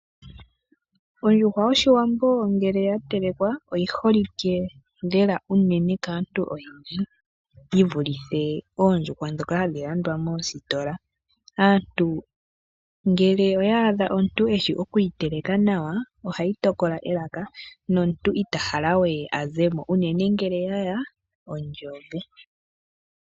Ondjuhwa yoShiwambo ngele ya telekwa oyi holike lela unene kaantu oyendji yi vulithe oondjuhwa ndhoka hadhi landwa moositola. Aantu ngele oya adha omuntu eshi okuyi teleka nawa ohayi tokola elaka nomuntu ita hala we a ze mo unene ngele yaya omagadhi goongongo.